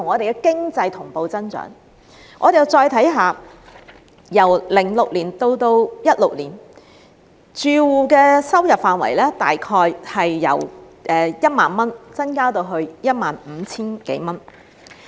我們再看看，由2006年至2016年，住戶的收入範圍大約由 10,000 元增至 15,000 多元。